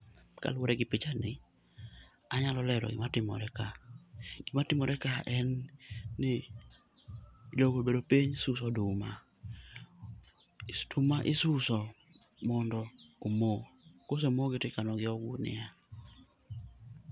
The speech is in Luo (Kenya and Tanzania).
Kaluwore gi pichani anyalo lero gima timore ka. Gimatimore ka en ni jogi obedo piny suso oduma. Oduma isuso mondo omo. Kosee mogi to ikanogi ei ogunia.